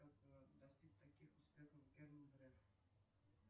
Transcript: как достиг таких успехов герман греф